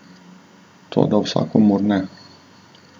Toda vsakomur ne!